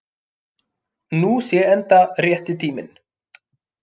Nú sé enda rétti tíminn